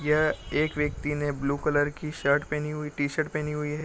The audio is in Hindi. यह एक व्यक्ति ने ब्लू कलर की शर्ट पहनी हुई टी-शर्ट पहनी हुई है।